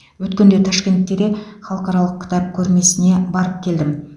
өткенде ташкентке де халықаралық кітап көрмесіне барып келдім